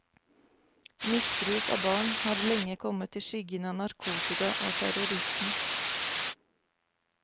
Misbruk av barn har lenge kommet i skyggen av narkotika og terrorisme.